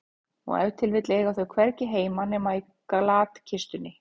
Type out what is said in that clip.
Og ef til vill eiga þau hvergi heima nema í glatkistunni.